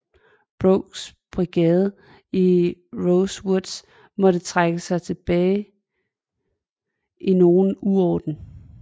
Brookes brigade i Rose Woods måtte trække sig tilbage i nogen uorden